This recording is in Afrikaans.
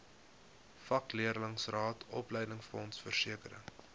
vakleerlingraad opleidingsfonds versekering